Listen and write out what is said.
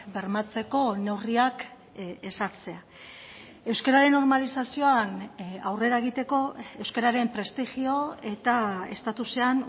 bermatzeko neurriak ezartzea euskararen normalizazioan aurrera egiteko euskararen prestigio eta estatusean